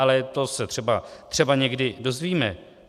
Ale to se třeba někdy dozvíme.